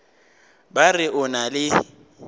ba re o na le